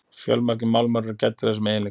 fjölmargir málmar eru gæddir þessum eiginleikum